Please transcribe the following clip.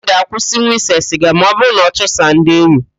Uche ga-akwụsinwu ịse siga ma ọbụrụ na ọ chụsịa ndi enyi